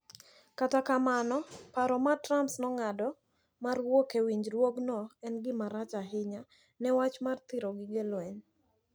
Kata kamano, paro ma Trump nong'ado mar wuok e winjruokno en gimarach ahinya ne wach mar thiro gige lweny.